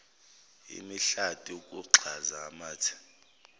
imihlati ukugxaza amathe